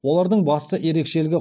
олардың басты ерекшелігі